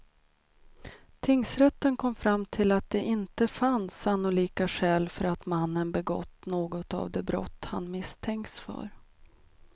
Tingsrätten kom fram till att det inte fanns sannolika skäl för att mannen begått något av de brott han misstänkts för.